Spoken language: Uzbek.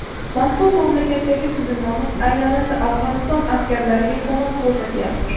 Mazkur mamlakatdagi tuzilmamiz alyansi Afg‘oniston askarlariga ko‘mak ko‘rsatayotir.